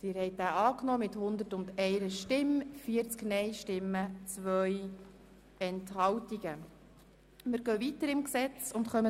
Sie haben den Antrag von Regierungsrat und FiKo angenommen.